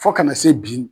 Fo kana se bi